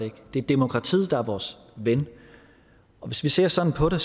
ikke det er demokratiet der er vores ven og hvis vi ser sådan på det